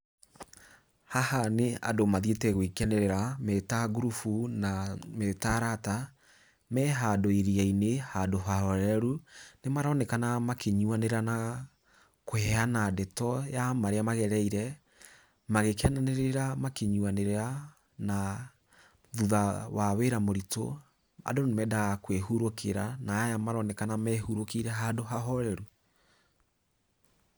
Haha nĩ andu mathiĩte gũikenerera me ta ngurubu na me ta arata. Me handũ iria-inĩ, handu ha horeru. Nĩ maronekana makĩnyuanĩra na kũheana ndeto ya marĩa magereire, magĩkenanĩrĩra, makĩnyuanĩrĩra, na thutha wa wĩra mũritũ andũ nĩ meendaga kwĩhũrũkira na aya nĩmaroneka mehurũkĩire handũ ha horeru.